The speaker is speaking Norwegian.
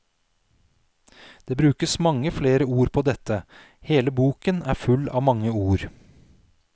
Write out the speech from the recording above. Det brukes mange flere ord på dette, hele boken er full av mange ord.